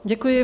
Děkuji.